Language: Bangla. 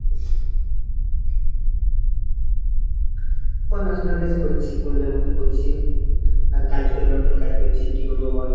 পড়াশোনা বেশ করছি পড়িবার মতন পড়ছি আর কাজ করিবার মতন কাজ করছি। কি করবো বল?